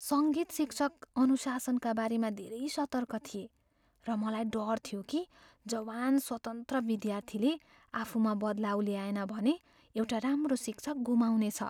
सङ्गीत शिक्षक अनुशासनका बारेमा धेरै सतर्क थिए, र मलाई डर थियो कि जवान स्वतन्त्र विद्यार्थीले आफूमा बदलाउ ल्याएन भने एउटा राम्रो शिक्षक गुमाउनेछ।